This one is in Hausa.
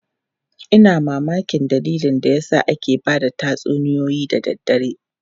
Ina mamakin dalilin da yasa ake ba da tatsuniyoyi da daddare.